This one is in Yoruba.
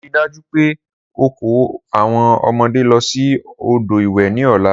Rii daju pe o ko awọn ọmọde lọ si odo iwe ni ọla!